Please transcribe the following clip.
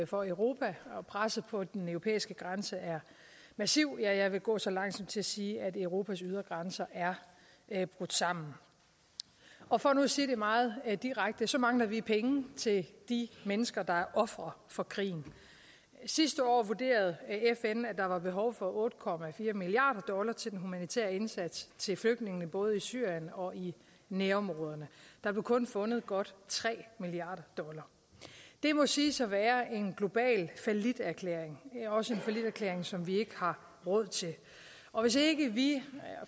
for europa og presset på den europæiske grænse er massiv ja jeg vil gå så langt som til at sige at europas ydre grænser er er brudt sammen og for nu at sige det meget direkte så mangler vi penge til de mennesker der er ofre for krigen sidste år vurderede fn at der var behov otte milliard dollar til den humanitære indsats til flygtningene både i syrien og i nærområderne der blev kun fundet godt tre milliard dollar det må siges at være en global falliterklæring også en falliterklæring som vi ikke har råd til og hvis ikke vi